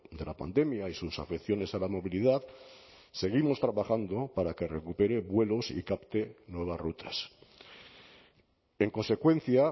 de la pandemia y sus afecciones a la movilidad seguimos trabajando para que recupere vuelos y capte nuevas rutas en consecuencia